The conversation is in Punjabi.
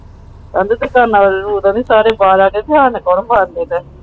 ਰਵੀ ਸਾਰੇ ਏ ਬਾਹਰ ਆ ਗਏ ਧਿਆਨ ਕਰੋ ਸਾਰੀਆਂ ਬਾਹਰਲੀਆਂ ਦਾ ਦਾ । ਮਾਨਵ ਨੇ ਤਲਾਕ